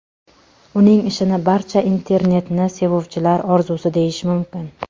Uning ishini barcha internetni sevuvchilar orzusi deyish mumkin.